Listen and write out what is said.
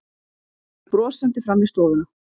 Kemur brosandi fram í stofuna.